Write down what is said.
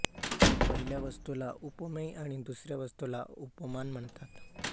पहिल्या वस्तूला उपमेय आणि दुसऱ्या वस्तूला उपमान म्हणतात